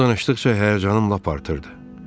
O danışdıqca həyəcanım lap artırdı.